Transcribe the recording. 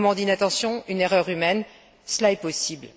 Un moment d'inattention, une erreur humaine, cela est possible.